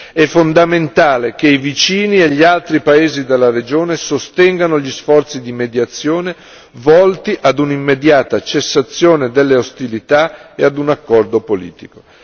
È fondamentale che i vicini e gli altri paesi della regione sostengano gli sforzi di mediazione volti ad un'immediata cessazione delle ostilità e ad un accordo politico.